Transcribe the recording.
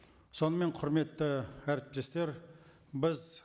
сонымен құрметті әріптестер біз